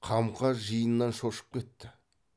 қамқа жиыннан шошып кетті